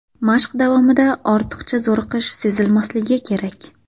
Mashq davomida ortiqcha zo‘riqish sezilmasligi kerak.